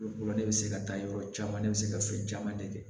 Olu de bɛ se ka taa yɔrɔ caman ne bɛ se ka fɛn caman de kɛ